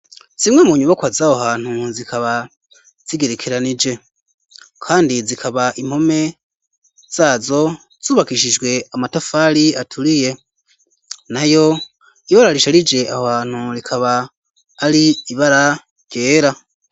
Zimwe mu nyubakwa zaho hantu zikaba zigerekeranije kandi zikaba impome zazo zubakishijwe amatafari aturiye nayo ibara risharije ab aho hantu rikaba ari ibara ryera.